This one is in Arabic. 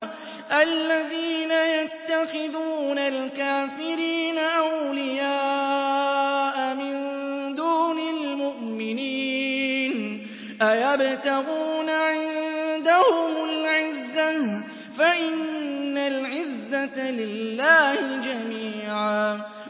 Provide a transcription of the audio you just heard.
الَّذِينَ يَتَّخِذُونَ الْكَافِرِينَ أَوْلِيَاءَ مِن دُونِ الْمُؤْمِنِينَ ۚ أَيَبْتَغُونَ عِندَهُمُ الْعِزَّةَ فَإِنَّ الْعِزَّةَ لِلَّهِ جَمِيعًا